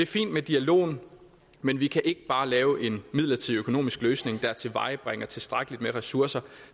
fint med dialogen men vi kan ikke bare lave en midlertidig økonomisk løsning der tilvejebringer tilstrækkeligt med ressourcer